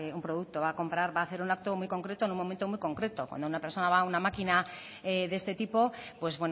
un producto va a hacer un acto muy concreto en un momento muy concreto cuando una persona va a una máquina de este tipo pues